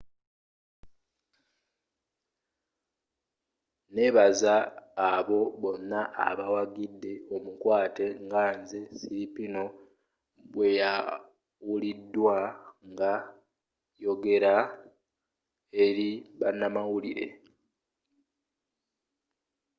nebaza abo bonna abawagidde omukwaate nga nze siriporn bweyawulidwa ng’a yogela eri banamawulire.